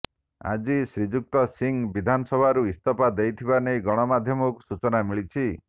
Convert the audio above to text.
ଆଜି ଶ୍ରୀଯୁକ୍ତ ସିଂ ବିଧାନସଭାରୁ ଇସ୍ତଫା ଦେଇଥିବା ନେଇ ଗଣମାଧ୍ୟମକୁ ସୁଚନା ମିଳିଛି